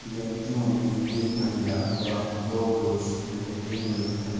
व्यक्तियों में एक महिला व दो पुरुष भेटे हुए हैं।